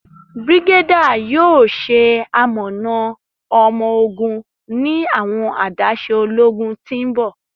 Brigadier yoo ṣe amọna ọmọ-ogun ni awọn adaṣe ologun ti n bọ.